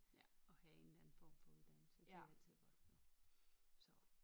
Ja og have en eller anden form for uddannelse det er altid godt jo så